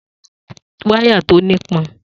Ta ló ra wáyà tí ó ní pọn?